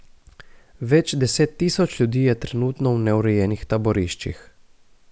Več deset tisoč ljudi je trenutno v neurejenih taboriščih.